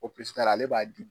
ale b'a di